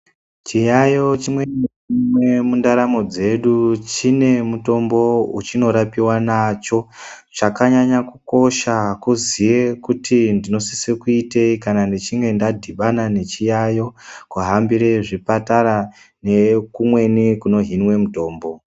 Chiyayiyo chimwe nachimwe mundaramo dzedu chine mutombo wechinorapiwa nacho chakanyanya kukosha kuziye kuti ndinosise kuitei kana ndichinge ndadhibana nechiyayiyo kubambire chipatara nekumweni kunohinwa mutombo.